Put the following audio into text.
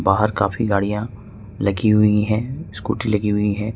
बाहर काफी गाड़िया लगी हुई है स्कूटी लगी हुई है।